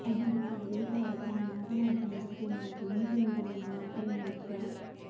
ಅದು ನನಗೆ ಬೇಸರವಾಗಿ ನಾನು ಮಾತನಾಡುವುದನ್ನು ಬಿಟ್ಟೆನೆ ಹೊರತು ಹಿಂಸೆ ನೀಡಿಲ್ಲ ಎಂದು ವಾಗ್ಧಾಳಿ ನಡೆಸಿದರು